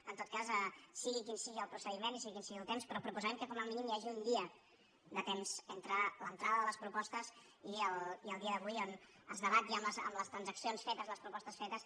en tot cas sigui quin sigui el procediment i sigui quin sigui el temps però proposarem que com a mínim hi hagi un dia de temps entre l’entrada de les propostes i el dia d’avui on es debat ja amb les transaccions fetes les propostes fetes